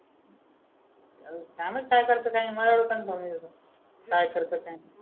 काम काय करते नाही मलाच कन्फर्म नाही अजून काय करते काय नाही